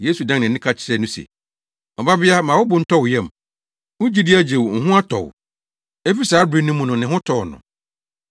Yesu dan nʼani ka kyerɛɛ no se, “Ɔbabea, ma wo bo ntɔ wo yam. Wo gyidi agye wo. Wo ho atɔ wo.” Efi saa bere no mu no, ne ho tɔɔ no.